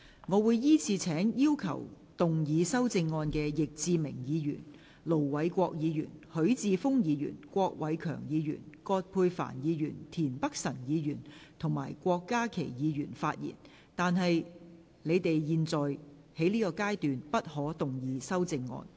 我會依次請要動議修正案的易志明議員、盧偉國議員、許智峯議員、郭偉强議員、葛珮帆議員、田北辰議員及郭家麒議員發言；但他們在現階段不可動議修正案。